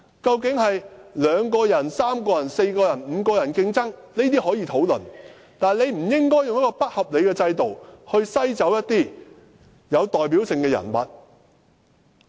究竟是2個人、3個人、4個人或5個人競爭，這些可以討論，但不應該用一個不合理的制度，篩走一些有代表性的人物。